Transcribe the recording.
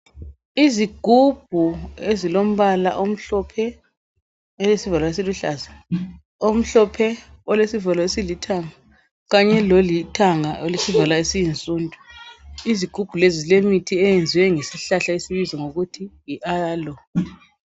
Izigubhu ezilombala omhlophe olesivalo esiluhlaza, omhlophe olesivalo esilithanga Kanye lolithanga olesivalo esiyinsundu. Izigubhu lezi zilemithi eyenziwe ngesihlahla esibizwa ngokuthi yi aloe .